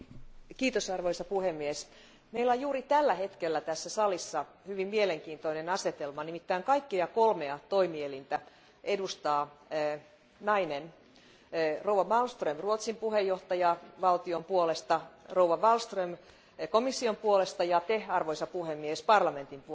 Arvoisa puhemies, meillä on juuri tällä hetkellä tässä salissa hyvin mielenkiintoinen asetelma, nimittäin kaikkia kolmea toimielintä edustaa nainen rouva Malmström Ruotsin puheenjohtajavaltion puolesta, rouva Wallström komission puolesta ja te, arvoisa puhemies, parlamentin puolesta.